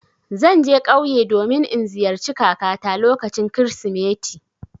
Zan je ƙauye domin in ziyarci kakata lokacin Kirsimeti.